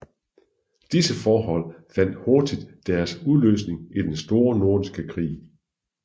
Disse forhold fandt hurtigt deres udløsning i den Store Nordiske Krig